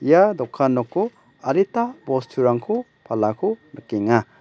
ia dokan noko adita bosturangko palako nikenga.